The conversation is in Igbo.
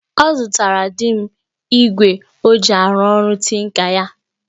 Ọ zụtara di m igwe o ji arụ ọrụ tinka ya